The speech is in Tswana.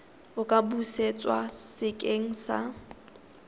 a ka busetswa sekeng sa